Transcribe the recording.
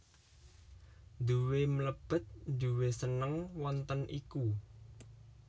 Nduwe mlebet nduwe seneng wonten iku